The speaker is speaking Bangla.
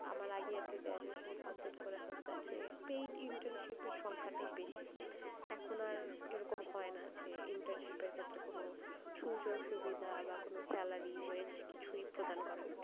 আমার আগেই আরকি graduation complete করতেছে যে paid internship এর সংখ্য়াটাই বেশি, এখন আর এরকম হয়না যে internship এর ক্ষেত্রে কোনো সুযোগ সুবিধা বা কোনো salary, wage কিছুই প্রদান করে না।